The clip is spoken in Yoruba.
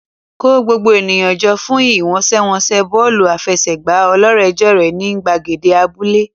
Kó gbogbo ènìyàn jọ fún ìfẹsẹ̀wọnsẹ̀ bọ́ọ̀lù aláfẹsẹ̀gbá ọlọ́rẹ̀ẹ́jọ̀rẹ́ ní gbàgede abúlé.